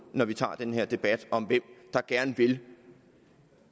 når vi tager den her debat om hvem der gerne vil